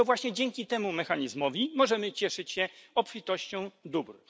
I to właśnie dzięki temu mechanizmowi możemy cieszyć się obfitością dóbr.